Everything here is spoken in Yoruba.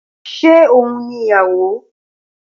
Ṣé oun ni ìyàwó?